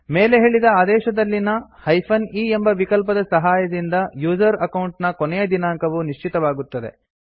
ಮೇಲೆ ಹೇಳಿದ ಆದೇಶದಲ್ಲಿನ -e ಎಂಬ ವಿಕಲ್ಪದ ಸಹಾಯದಿಂದ ಯೂಸರ್ ಅಕೌಂಟ್ ನ ಕೊನೆಯ ದಿನಾಂಕವು ನಿಶ್ಚಿತವಾಗುತ್ತದೆ